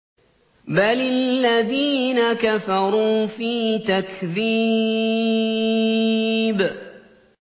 بَلِ الَّذِينَ كَفَرُوا فِي تَكْذِيبٍ